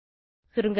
சுருங்க சொல்ல